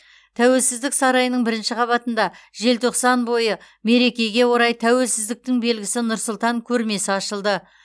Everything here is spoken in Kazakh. тәуелсіздік сарайының бірінші қабатында желтоқсан бойы мерекеге орай тәуелсіздіктің белгісі нұр сұлтан көрмесі ашылды